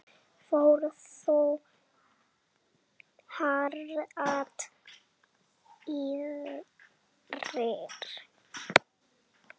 Fór þó hratt yfir.